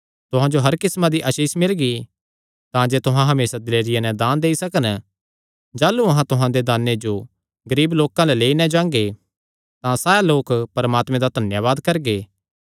तुहां जो हर किस्मां दी आसीष मिलगी तांजे तुहां हमेसा दिलेरिया नैं दान देई सकन जाह़लू अहां तुहां दे दाने जो गरीब लोकां अल्ल लेई नैं जांगे तां सैह़ लोक परमात्मे दा धन्यावाद करगे